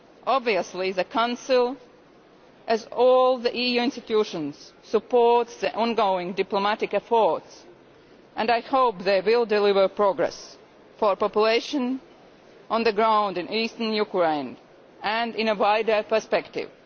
Obviously the Council and all the EU institutions support the ongoing diplomatic efforts and I hope they will deliver progress for the population on the ground in Eastern Ukraine and in a wider perspective.